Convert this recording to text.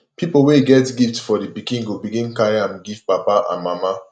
pipol wey get gift for di pikin go begin carry am giv papa and mama